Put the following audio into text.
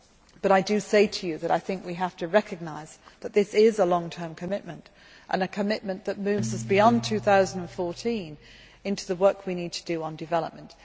But we have to recognise that this is a long term commitment and a commitment that moves us beyond 2014 into the work we need to do on development.